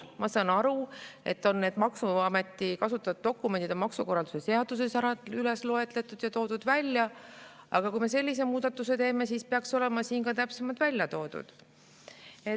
Ma saan aru, et need maksuameti kasutatavad dokumendid on maksukorralduse seaduses üles loetletud ja välja toodud, aga kui me sellise muudatuse teeme, siis peaks need olema siin ka täpsemalt välja toodud.